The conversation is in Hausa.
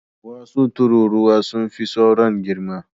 Wasu tururuwa sun fi sauran girma.